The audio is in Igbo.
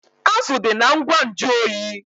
Azụ dị na ngwa nju oyi